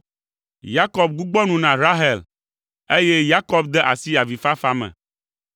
Yakob gbugbɔ nu na Rahel, eye Yakob de asi avifafa me.